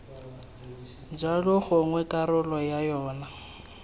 jalo gongwe karolo ya yona